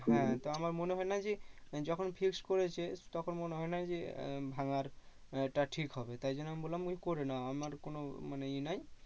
হ্যাঁ তো আমার মনে হয় না যে যখন fixed করছে তখন মনে হয় না যে আহ ভাঙার এ টা ঠিক হবে তাই জন্য আমি বললাম করে নাও আমার কোনো মানে এ নাই